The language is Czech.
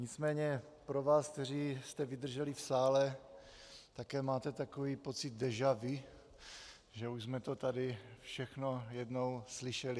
Nicméně pro vás, kteří jste vydrželi v sále - také máte takový pocit déja vu, že už jsme to tady všechno jednou slyšeli?